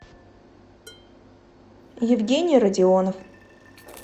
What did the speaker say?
евгений родионов